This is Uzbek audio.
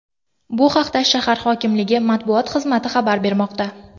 Bu haqda shahar hokimligi matbuot xizmati xabar bermoqda .